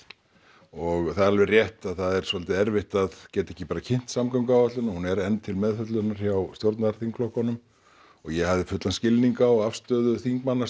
og það er rétt að það er svolítið erfitt að geta ekki bara kynnt samgönguáætlunina hún er enn til meðfjöllunar hjá stjórnarþingflokkunum og ég hafði fullan skilning á afstöðu þingmanna